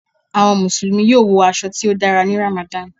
Awọn Musulumi yoo wọ aṣọ ti o dàrá ní Ramadan